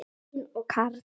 Elín og Karl.